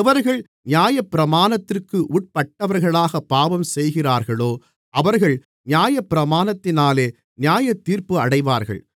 எவர்கள் நியாயப்பிரமாணத்திற்கு உட்பட்டவர்களாகப் பாவம் செய்கிறார்களோ அவர்கள் நியாயப்பிரமாணத்தினாலே நியாயத்தீர்ப்பு அடைவார்கள்